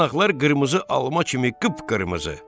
Yanaqlar qırmızı alma kimi qıp-qırmızı.